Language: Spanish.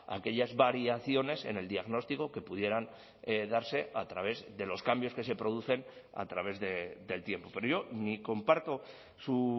a aquellas variaciones en el diagnóstico que pudieran darse a través de los cambios que se producen a través del tiempo pero yo ni comparto su